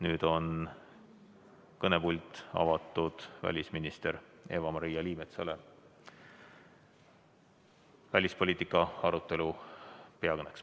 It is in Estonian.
Nüüd on kõnepult avatud välisminister Eva-Maria Liimetsale välispoliitika arutelu peakõneks.